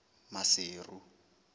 maseru